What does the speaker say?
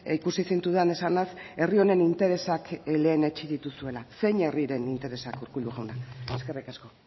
ikusi zintudan esanaz herri honen interesak lehenetsi dituzuela zein herriren interesak urkullu jauna eskerrik asko